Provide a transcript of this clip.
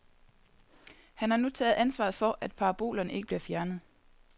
Han har nu taget ansvaret for, at parabolerne ikke bliver fjernet.